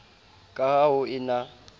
ka ha ho e na